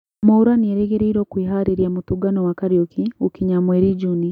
Mwaura nĩarĩrĩgĩrĩruo kwĩharĩrĩa mũtũngano wa Kariuki gũkinya mweri njuni